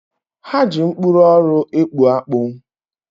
Ha ji mkpụrụ ọrụ ekpu akpu.